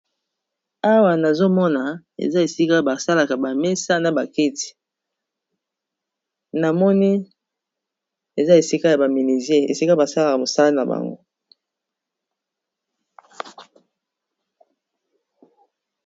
Awa nazomona ,eza esika ya basalaka bamesa na ba keti ,namoni eza esika ya baminisie esika basalaka mosala na bango.